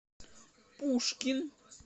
пушкин